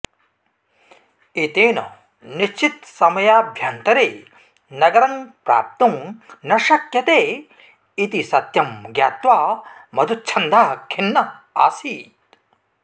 एतेन निश्चितसमयाभ्यन्तरे नगरं प्राप्तुं न शक्यते इति सत्यं ज्ञात्वा मधुच्छन्दः खिन्नः आसीत्